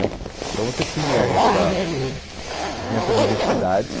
né então você tinha essa, tinha essa diversidade.